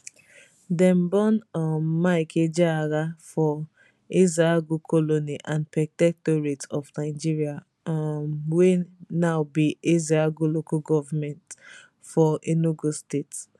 dem born um mike ejeagha for ezeagu colony and protectorate of nigeria um wey now be ezeagu local goment for enugu state